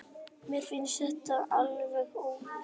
Mér finnst þetta alveg ótrúlegt